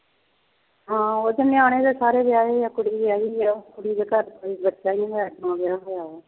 ਹਾਂ ਉਸ ਨਿਆਣੇ ਤਾਂ ਸਾਰੇ ਵਿਆਹੇ ਆ, ਕੁੜੀ ਵਿਆਹੀ ਆ, ਕੁੜੀ ਦੇ ਘਰ ਤੇ ਬੱਚਾ ਵੀ ਹੈ, ਵਿਆਹ ਹੋਇਆ ਹੈ